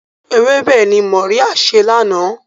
Ewébẹ̀ ni Mọ́ríá sè lánàá.